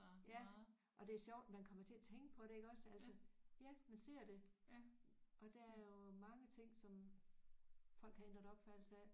Ja og det er sjovt man kommer til at tænke på det iggås altså ja man ser det og der er jo mange ting som folk har ændret opfattelse af